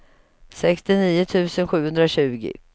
sextionio tusen sjuhundratjugo